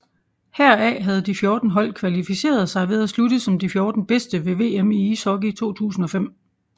Heraf havde de 14 hold kvalificeret sig ved at slutte som de 14 bedste ved VM i ishockey 2005